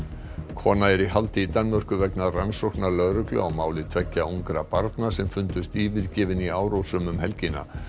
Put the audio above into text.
kona er í haldi í Danmörku vegna rannsóknar lögreglu á máli tveggja ungra barna sem fundust yfirgefin í Árósum um helgina